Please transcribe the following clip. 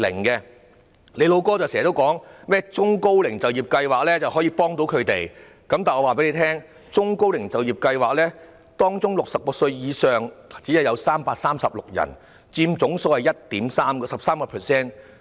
局長經常說甚麼中高齡就業計劃可以協助他們，但我告訴他，中高齡就業計劃參加者中的66歲以上長者只有336人，佔總數 13%。